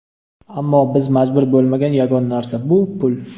Ammo biz majbur bo‘lmagan yagona narsa bu pul.